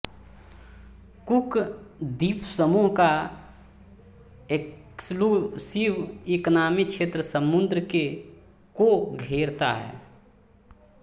cook द्वीपसमूह का exclusive economy क्षेत्र समुद्र के को घेरता है